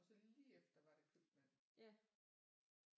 Og så lige efter var det købmand